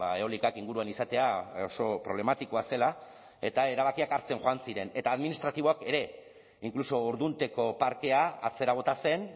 eolikak inguruan izatea oso problematikoa zela eta erabakiak hartzen joan ziren eta administratiboak ere inkluso ordunteko parkea atzera bota zen